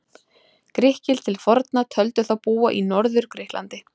Grikkir til forna töldu þá búa í Norður-Grikklandi.